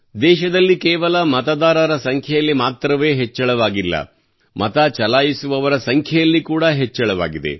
ದೇಶದಲ್ಲಿ ಕೇವಲ ಮತದಾರರ ಸಂಖ್ಯೆಯಲ್ಲಿ ಮಾತ್ರವೇ ಹೆಚ್ಚಳವಾಗಿಲ್ಲ ಮತ ಚಲಾಯಿಸುವವರ ಸಂಖ್ಯೆಯಲ್ಲಿ ಕೂಡಾ ಹೆಚ್ಚಳವಾಗಿದೆ